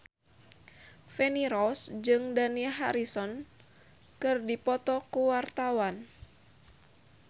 Feni Rose jeung Dani Harrison keur dipoto ku wartawan